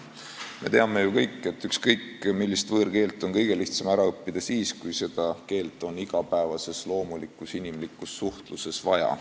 Me teame ju kõik, et ükskõik millist võõrkeelt on kõige lihtsam ära õppida siis, kui seda keelt on igapäevases loomulikus inimlikus suhtluses vaja.